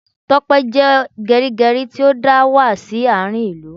Tope jẹ́ gerigeri tí ó dà wá sí àárín ìlú